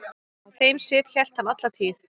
Þeim sið hélt hann alla tíð.